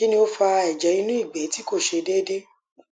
kini o fa eje inu igbe ti ko se deede